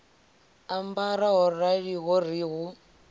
ambara ho raliho ri hu